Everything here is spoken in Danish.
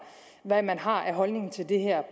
hvad man har af holdning til det her